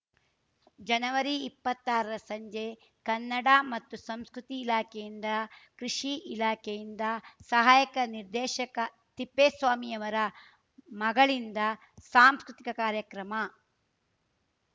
ಜನವರಿಇಪ್ಪತ್ತಾರ ರ ಸಂಜೆ ಕನ್ನಡ ಮತ್ತು ಸಂಸ್ಕೃತಿ ಇಲಾಖೆಯಿಂದ ಕೃಷಿ ಇಲಾಖೆಯಿಂದ ಸಹಾಯಕ ನಿರ್ದೇಶಕ ತಿಪ್ಪೇಸ್ವಾಮಿಯವರ ಮಗಳಿಂದ ಸಾಂಸ್ಕೃತಿಕ ಕಾರ್ಯಕ್ರಮ